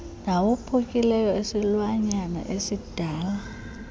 nawophukileyo esilwanyana esidala